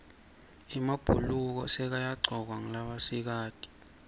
emabhuluko sekayagcokwa ngulabasikati